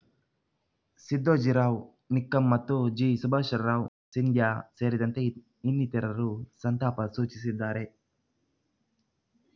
ಸಿದ್ದೋಜಿರಾವ್‌ ನಿಕ್ಕಂ ಮತ್ತು ಜಿ ಸುಭಾಷ್‌ರಾವ್‌ ಸಿಂಧ್ಯಾ ಸೇರಿದಂತೆ ಇನ್ನಿತರರು ಸಂತಾಪ ಸೂಚಿಸಿದ್ದಾರೆ